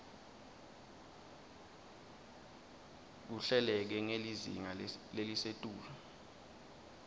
kuhleleke ngelizinga lelisetulu